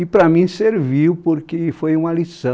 E para mim serviu porque foi uma lição.